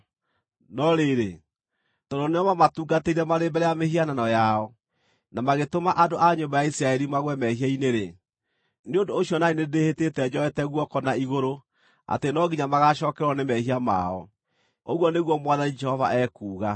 No rĩrĩ, tondũ nĩo maamatungatĩire marĩ mbere ya mĩhianano yao, na magĩtũma andũ a nyũmba ya Isiraeli magũe mehia-inĩ-rĩ, nĩ ũndũ ũcio na niĩ nĩndĩhĩtĩte njoete guoko na igũrũ atĩ no nginya magaacookererwo nĩ mehia mao, ũguo nĩguo Mwathani Jehova ekuuga.